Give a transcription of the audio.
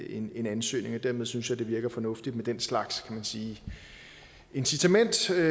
en ansøgning og dermed synes jeg det virker fornuftigt med den slags kan sige incitamentsstruktur